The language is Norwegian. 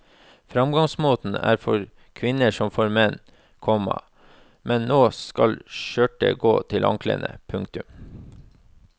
Framgangsmåten er for kvinner som for menn, komma men nå skal skjørtet gå til anklene. punktum